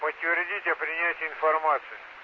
подтвердите принятие информации